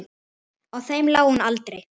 Á þeim lá hún aldrei.